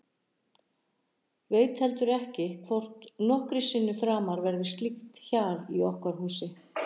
Veit heldur ekki hvort nokkru sinni framar verður slíkt hjal í okkar húsi.